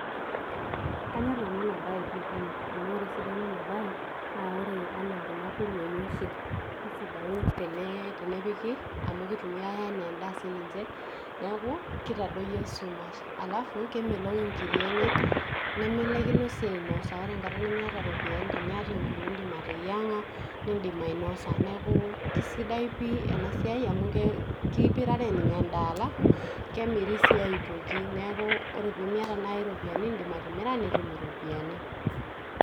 kanyor nanu ena baee pii pii, amu ore esidano ena bae naa ore anaa kuna kuruei oshi keisidain tenepiki, amu keitumiai anaa endaa sii ninje, neaku keitadoyio esumash, alafu kemelok inkiri enye, nemelaikino sii ainosa. ore enkata nimiata iropiyiani tiniata enkurue indim atenyeng'a, nindim ainosa neaku, keisidai pii ena siai amu keipirare ninye endaa, alafu kemiri sii aitoki neaku ore pee miata naaji iropiyiani nindim atimira nitum iropiyiani.